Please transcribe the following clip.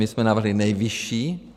My jsme navrhli nejvyšší.